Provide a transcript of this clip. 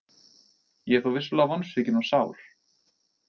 Ég er þó vissulega vonsvikinn og sár.